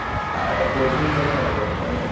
अ काय पोर्शन काय काय जरा सांग मला